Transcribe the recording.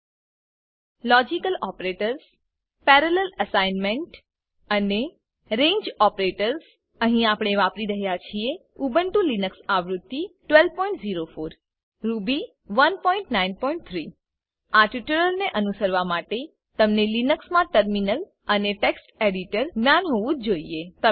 logical operators logical operator parallel assignment અને parallel અસાઈમેંટઅને રંગે ઓપરેટર્સ રેંજ ઓપરેટરસ અહીં આપણે વાપરી રહ્યા છે ઉબુન્ટુ લિનક્સ આવૃત્તિ 1204 રૂબી 193 આ ટ્યુટોરીયલના અનુસરણ માટે તમને લિનક્સ મા ટર્મિનલ અને ટેક્સ્ટ એડિટર જ્ઞાન હોવું જ જોઈએ